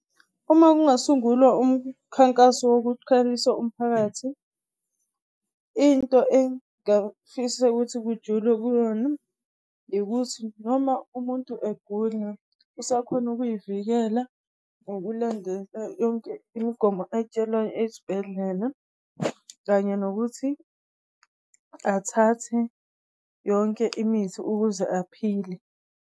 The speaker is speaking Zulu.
Uma kungasungulwa umkhankaso wokukhalisa umphakathi, into engafisa kuthi kujulwe kuyona, ukuthi noma umuntu egula, usakhona ukuyivikela ngokulandela yonke imigomo ayitshelwa esibhedlela. Kanye nokuthi athathe yonke imithi ukuze aphile.